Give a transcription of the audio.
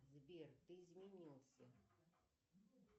сбер ты изменился